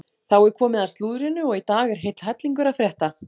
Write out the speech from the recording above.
Þá er komið að slúðrinu og í dag er heill hellingur að frétta.